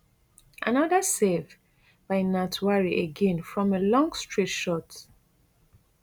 anoda save by ntwari again from a long straight shot